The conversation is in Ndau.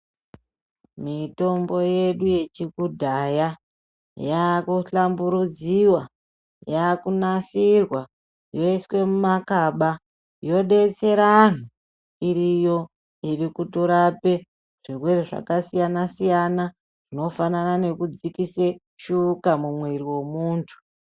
Mitombo yedu yekudhaya yakuhlamburudziwa, yakunasirwa, yoiswa mumakaba, yodetsera anhu. Iriyo irikutorape zvirwere zvakasiyana -siyana, zvinofanana nekudzikise shuka mumwiri wemuntu.